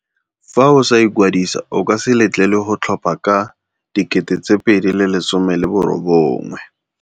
Fa o sa ikwadisa, o ka se letlelelwe go tlhopha ka 2019.